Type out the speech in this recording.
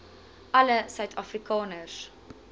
alle suid afrikaners